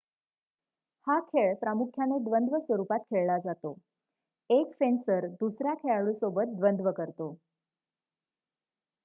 हा खेळ प्रामुख्याने द्वंद्व स्वरूपात खेळला जातो 1 फेंसर दुसऱ्या खेळाडूसोबत द्वंद्व करतो